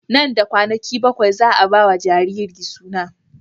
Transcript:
Nan da kwanaki bakwai za a ba wa jariri suna.